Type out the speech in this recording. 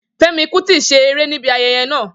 Femi Kuti ṣe ere nibi ayẹyẹ naa